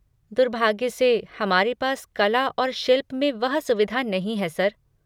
दुर्भाग्य से, हमारे पास कला और शिल्प में वह सुविधा नहीं है, सर।